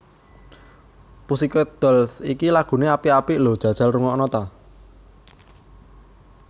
Pussycat Dolls iki lagune apik apik lho jajal rungokno ta